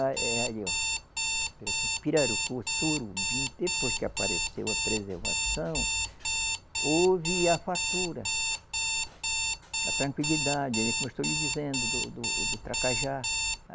A eh aí, ó, Pirarucu, Sorubim, depois que apareceu a preservação, houve a fartura, a tranquilidade, como eu estou lhe dizendo, do do do Tracajá.